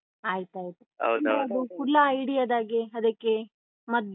ಆಯ್ತಾಯ್ತು. ಹುಳ ಹಿಡಿಯದಾಗೆ, ಅದಕ್ಕೆ ಮದ್ದೆಲ್ಲ?